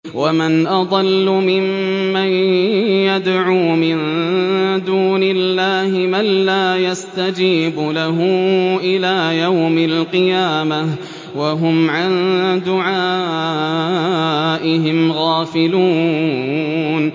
وَمَنْ أَضَلُّ مِمَّن يَدْعُو مِن دُونِ اللَّهِ مَن لَّا يَسْتَجِيبُ لَهُ إِلَىٰ يَوْمِ الْقِيَامَةِ وَهُمْ عَن دُعَائِهِمْ غَافِلُونَ